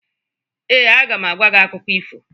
Ee, aga m agwa gị akụkọ ifo.